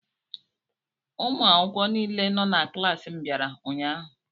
Ụmụ akwụkwọ niile nọ na klaasị m bịara ụnyaahụ.